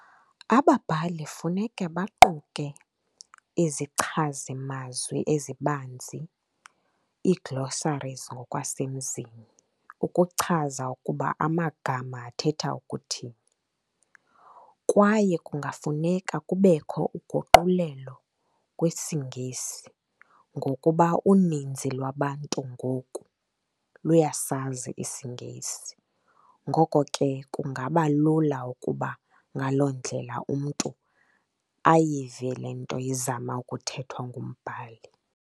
Ababhali funeke baquke izichazimazwe ezibanzi, ii-glossaries ngokwasemzini, ukuchaza ukuba amagama athetha ukuthini. Kwaye kungafuneka kubekho uguqulelo kwesiNgesi ngokuba uninzi lwabantu ngoku luyasazi isiNgesi. Ngoko ke, kungabalula ukuba ngaloo ndlela umntu ayive le nto izama ukuthethwa ngumbhali.